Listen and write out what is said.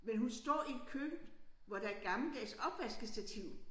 Men hun står i et køkken hvor der et gammeldags opvaskestativ